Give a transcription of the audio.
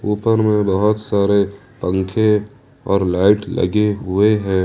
ऊपर में बहोत सारे पंखे और लाइट लगे हुए हैं।